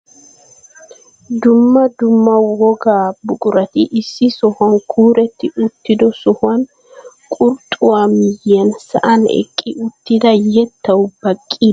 Dumma dumma woga buqurati issi sohuwaan kuuretti uttido sohuwan quruxuwaa miyiyaan sa'an eqqi uttida yettawu baqqiidi kaa'iyoo buquraa sunttay aybee?